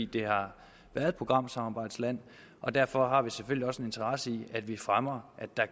det har været et programsamarbejdsland og derfor har vi selvfølgelig også en interesse i at vi fremmer at der